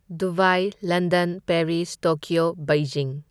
Dubai, London, Paris, Tokyo, Beijing.